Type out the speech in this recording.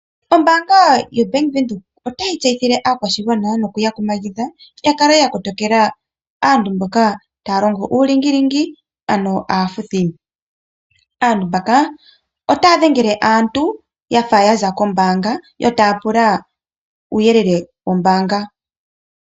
Ombaanga ya venduka ota yi yseyithile, aakwashigwana no ku ya kumagidha, ya kale ya kotokela, asntu mboka ta ya longo uulingilingi ano aafuthi. Aantu mbaka ota ya dhengele aantu, yafa ya za kombaanga yo taa pula uuyelele wo mbaanga.